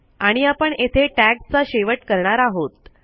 आणि आपण येथे टॅग चा शेवट करणार आहोत